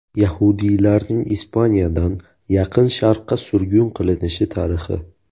Yahudiylarning Ispaniyadan Yaqin Sharqqa surgun qilinishi tarixi.